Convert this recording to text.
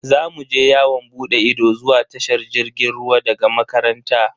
Za mu je yawon bude ido zuwa tashar jirgin ruwa daga makaranta.